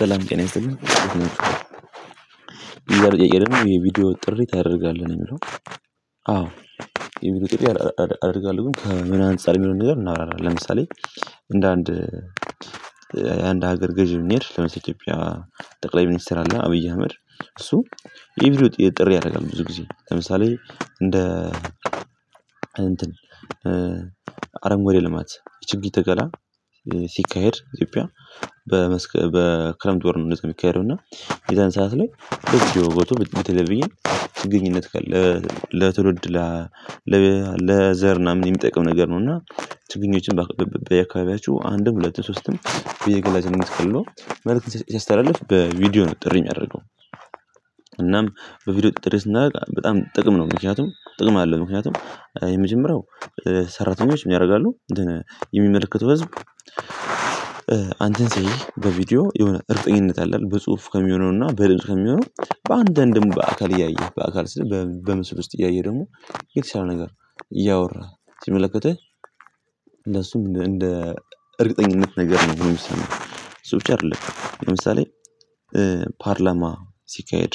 ሰላም ጤና ይስልኝ የዛሬ ጥያቄ ደግሞ የቪዲዮ ጥሪ ታደርጋለህ ነው የሚለው? አዎ የቪዲዮ ጥሪ አደርጋለሁ ግን ከምን አንፃር የሚለውን ነገር እናወራለን። ለምሳሌ እንደ አንድ የአንድ ሀገር ገዢ ምን ይሄድ ለምሳሌ ኢትዮጵያ ጠቅላይ ሚኒስትር አለ አብይ አህመድ እሱ የቪዲዮ ጥሪ ያደርጋል። ብዙ ጊዜ ለምሳሌ እንደ አረንጓዴ ልማት የችግር ተካላ ሲካሄድ ኢትዮጵያ በክረምት ወር ነው የሚካሄደው እና የዛን ሰዓት ላይ እቺ ወይ በቱ ብትለብኝ ግኝት ለትውልድ ለዘር ምናምን የሚጠቅም ነገር ነው። እና ትግኝችን በአካባቢያችሁ አንድም ሁለት ሦስትም በየግላቸ ነው የምትፈልገው ሲያስተላልፍ በቪዲዮ ነው ጥሪ የሚያደርገው። እናም በቪዲዮ ጥረት እናውቃለን በጣም ጥቅም ነው። ምክንያቱም ጥቅም አለው ምክንያቱም የመጀመሪያው ሰራተኞች ምን ያደርጋሉ የሚመለከተው ህዝብ አንድን ሰውዬ በቪዲዮ የሆነ እርግጠኝነት አለ። በጽሁፍ ከሚሆነውና በድምጽ ከሚሆነው በአንዳንድም በአካል እያየህ በአካል ስል በምስብ ውስጥ እያየህ ደግሞ የተሻለ ነገር እያወራህ ሲመለከተህ ለሱም እንደ እርግጠኝነት ነገር ነው የሚሰማው እሱ ብቻ አይደለም። ለምሳሌ ፓርላማ ሲካሄድ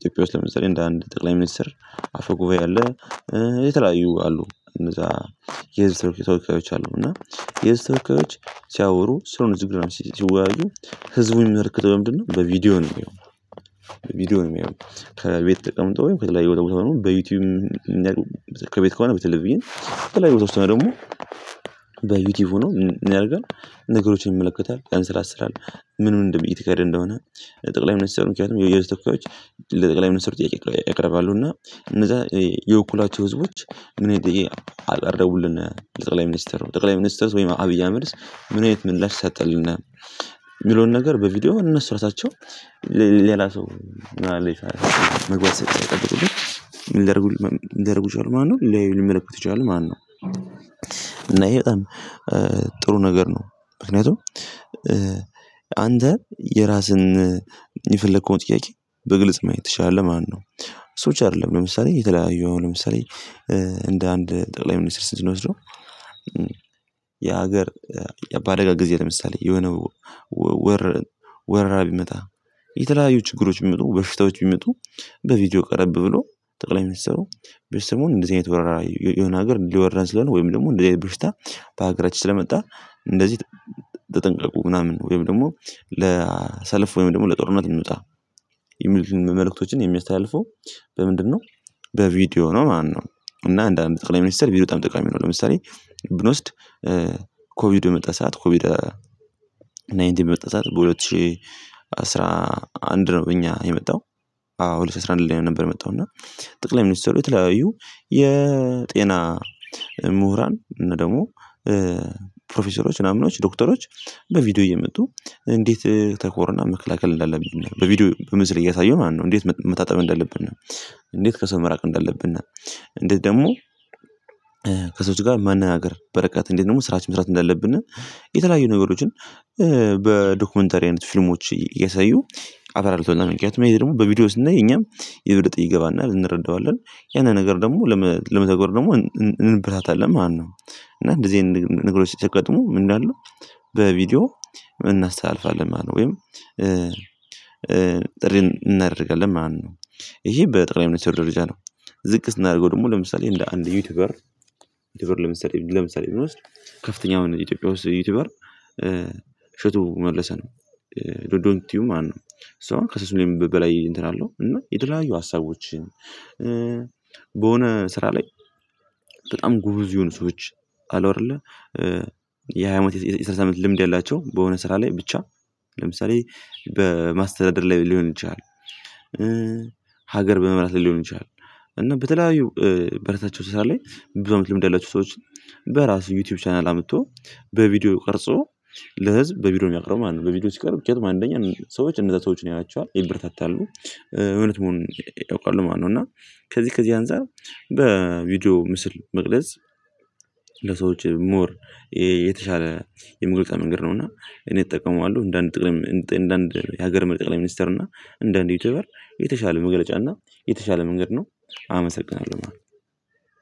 ኢትዮጵያ ውስጥ ለመስራት እንደ አንድ ጠቅላይ ሚኒስትር አፈ ጉባኤ አለ። የተለያዩ አሉ እነዛ የህዝብ ተወካዮች አሉ። እና የዚህ ተወካዮች ሲያወሩ ስሩን ዝግራ ይወያዩ ህዝቡን የሚመለክተው ምንድነው? በቪዲዮ ነው የሚሆነው ነው የሚሆነው። ከቤት ተቀምጦ ወይም ከተለያየ ወጥሞታል በዩቲዩብ ክሬት ከሆነ በተለይ ብዬ በተለይ ወጥቶ ነው ደግሞ በዩቲዩብ ሆኖ ምን ያደርጋል? ነገሮችን ይመለከታል ያን ስራ ትሰራለህ ምን እንደሚታየው እንደሆነ ጠቅላይ ሚኒስትሩ ምክንያቱም የውስጥ ትኩረቶች ለጠቅላይ መስመር ጥያቄ ያቀርባሉ እና እነዛ የውኩላቸው ህዝቦች ምን ይጠይቁልን ጠቅላይ ሚኒስተር ነው። ጠቅላይ ሚኒስተር ወይም አብይ አህመድስ ምን አይነት ምላሽ ሰጠልናል። የሚለውን ነገር በቪዲዮ እና ራሳቸው ሌላ ሰው መግባት ሳይጠብቁብኝ ምን ሊያረጉ ምን ሊራጉ ይችላሉ? ማለት ነው። ለይል መለኮት ይቻላል። ማነው? እና ይሄ በጣም ጥሩ ነገር ነው። ምክንያቱም አንተ የራስን የፈለከውን ጥያቄ በግልጽ ማየት ትችላለህ። ማነው? ሰዎች አይደለም ለምሳሌ የተለያየ አሁን ለምሳሌ እንደ አንድ ጠቅላይ ሚኒስትር ስንት ነው የሚወስደው? የምትለው የሀገር በአደጋ ጊዜ ለምሳሌ የሆነው ወር ወራ ቢመጣ የተለያዩ ችግሮች ቢመጡ በሽታዎች ቢመጡ በቪዲዮ ቀረብ ብሎ ጠቅላይ የሚሰሩ በሽታው ስሙን እንደዚህ አይነት ወራራ የሆነ ሀገር ሊወራ ስለሆነ ወይም ደግሞ እንደዚህ አይነት ብርስታ በሀገራችን ስለመጣ እንደዚህ ተጠንቀቁ ምናምን ወይም ደግሞ ለሰልፍ ወይም ደግሞ ለጦርነት የሚመጣ መልእክቶችን የሚያስተያውቀው በምንድነው በቪዲዮ ነው። ማነው? እና አንዳንድ ጠቅላይ ሚኒስተር ቢሮ በጣም ጠቃሚ ነው። ለምሳሌ ብንወስድ ኮቪድ የመጣ ሰዓት ኮቪድ ናይንቲ የመጣ ሰዓት በሁለት ሺህ አስራ አንድ ነው በእኛ የመጣው አዎ ልጅ አስራ አንድ ላይ ነው። ነበር የመጣው እና ጠቅላይ ሚኒስትሩ የተለያዩ የጤና ምሁራን እና ደግሞ ፕሮፌሰሮች ምናምኖች ዶክተሮች በቪዲዮ እየመጡ እንዴት ተኮሮና መከላከል እንዳለብኝ በቪዲዮ በምስል እያሳየሁ ማለት ነው። እንዴት መታጠብ እንዳለብን እንዴት ከሰው መራቅ እንዳለብን። እንዴት ደግሞ ከሰዎች ጋር ማን በረከት እንዴት ደግሞ ስራች መስራት እንዳለብን። የተለያዩ ነገሮችን በዶክመንተሪ አይነት ፊልሞች እየሳዩ አበላል ተብለን ምክንያቱም ይሄ ደግሞ በቪዲዮ ውስጥ እና የኛም የበለጠ ይገባና ልንረዳዋለን ያንን ነገር ደግሞ ለመተገር ደግሞ እንብራታለን ማለት ነው። እና እንደዚህ አይነት ነገሮች ሲተገጥሙ እንዳሉ በቪዲዮ እናስተላልፋለን። ማለት ወይም ጥሪን እናደርጋለን ማነው? ይሄ በጠቅላይ ሚኒስትር ደረጃ ነው። ዝቅ ስናደርገው ደግሞ ለምሳሌ እንደ አንድ ዩቲዩበር ዩቲዩበር ለምሳሌ ለምሳሌ እንውስድ ከፍተኛው ኢትዮጵያ ውስጥ ዩቲዩበር እሽቱ መለሰን ዶንኪ ቲዩብ ማለት ነው። እሷን ከሰሱ ላይ በላይ እንትን አለው እና የተለያዩ ሀሳቦችን በሆነ ስራ ላይ በጣም ጎበዝ የሆኑ ሰዎች አሉ። አይደለ የሃያ አመት የሰላሳ ዐመት ልምድ የላቸውም በሆነ ስራ ላይ ብቻ ለምሳሌ በማስተዳደር ላይ ሊሆን ይችላል። ሀገር በመምራት ሊሆን ይችላል። እና በተለያዩ በራሳቸው ስራ ላይ ብዙ ልምድ ያላቸው ሰዎች በራሱ ዩቲዩብ ቻናል አምጥቶ በቪዲዮ ቀርጾ ለህዝብ በቪዲዮ የሚያቀርቡ ማለት ነው። በቪዲዮ ሲቀርብ ምክንያቱም አንደኛ ሰዎች እነዛ ሰዎችን ያዋቸዋል ይበረታታሉ። እውነት መሆን ያውቃሉ ማነው እና ከዚህ ከዚህ አንፃር በቪዲዮ ምስል መቅደስ ለሰዎች ሞር የተሻለ የምግብ መንገድ ነው። እና እኔ እጠቀመዋለሁ እንደ አንድ ጥቅም እንደ አንድ የሀገር መልቀቅ ላይ ሚኒስተር እና እንደ አንድ ዩቲዩበር የተሻለ መግለጫ መገለጫና የተሻለ መንገድ ነው። አመሰግናለሁ ማለት ነው